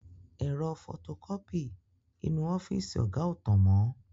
Ẹ̀rọ fọtokọ́pì inú ọ́fíìsì ọ̀gá ò tàn mọ.